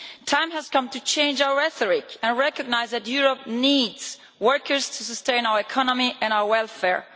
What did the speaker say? The time has come to change our rhetoric and recognise that Europe needs workers to sustain our economy and our welfare.